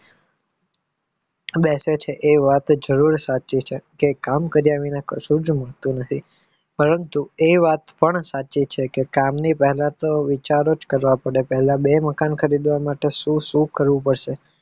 બેસે છે એ વાત જરૂર સાચી છે કે કામ કર્યા વિના કશું જ મળતું નથી પરંતુ એ વાત પણ સાચી છે કે કામની પહેલા તો વિચારો જ કરવા પડે પહેલા તો બે મકાન ખરીદવા માટે શું શું કરવું પડશે